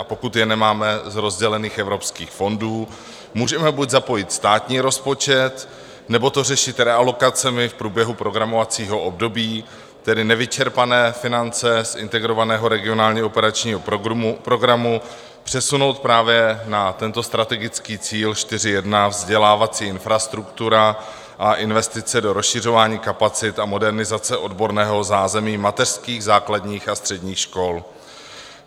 A pokud je nemáme z rozdělených evropských fondů, můžeme buď zapojit státní rozpočet, nebo to řešit realokacemi v průběhu programovacího období, tedy nevyčerpané finance z Integrovaného regionálního operačního programu přesunout právě na tento strategický cíl 4.1, Vzdělávací infrastruktura a investice do rozšiřování kapacit a modernizace odborného zázemí mateřských, základních a středních škol.